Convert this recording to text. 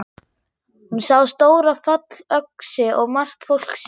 Hún sá stóra fallöxi og margt fólk sem.